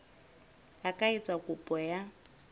a ka etsa kopo ya